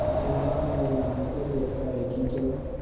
अम्मीजान नियामतें लेकर आएँगी तो